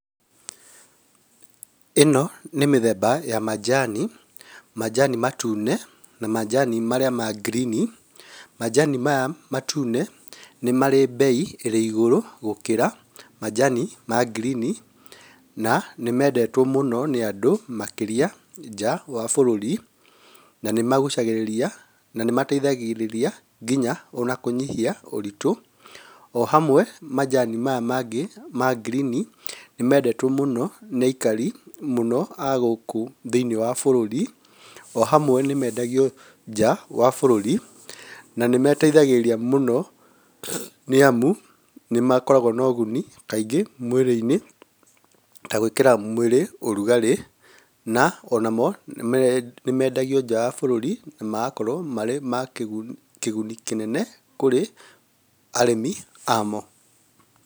Ĩno nĩ mĩthemba ya majani , majani matune na majani maria ma green. Majani maya matune nĩmarĩ bei ĩrĩ igũrũ gũkĩra majani ma green na nĩmendetwo mũno nĩ andũ makĩria nja wa bũrũri na nĩmagucagĩrĩria nĩmateithagĩrĩria ngĩnya ona kũnyihia ũritu. Ohamwe majani maya mangĩ ma green nĩmendetwo mũno nĩ aikarĩ mũno a gũũku thĩinĩ wa bũrũri ohamwe nĩmendagio njaa wa bũrũri na nĩmateithagĩrĩria mũno nĩamũ nĩmakoragwo na ũguni kaingĩ mwirĩ-inĩ ta gwĩkĩra mwĩrĩ ũrugarĩ na onamo nĩme nĩmendagio nja wa bũrũri na magakorwo marĩ ma kĩ kĩguni kĩnene kũrĩ arĩmi amo.